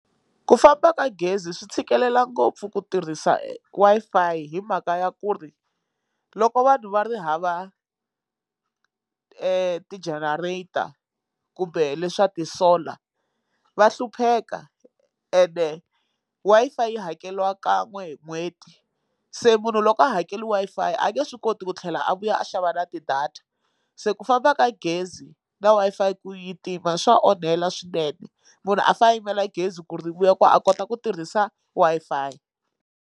Ku famba ka gezi swi tshikelela ngopfu ku tirhisa Wi-Fi hi mhaka ya ku ri loko vanhu va ri hava ti generator kumbe leswa ti solar va hlupheka ene Wi-Fi yi hakeliwa kan'we hi n'hweti se munhu loko a hakeli Wi-Fi a nge swi koti ku tlhela a vuya a xava na tidata se ku famba ka gezi na Wi-Fi ku yi tima swa onhela swinene munhu a fane a yimela gezi ku ri vuya ku a kota ku tirhisa Wi-Fi.